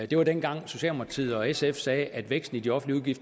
det var dengang socialdemokratiet og sf sagde at væksten i de offentlige